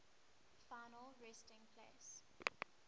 final resting place